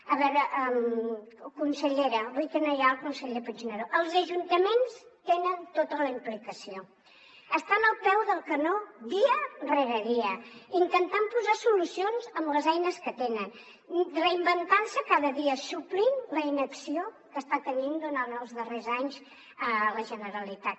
a veure consellera avui que no hi ha el conseller puigneró els ajuntaments tenen tota la implicació estan al peu del canó dia rere dia intentant posar solucions amb les eines que tenen reinventant se cada dia suplint la inacció que està tenint durant els darrers anys la generalitat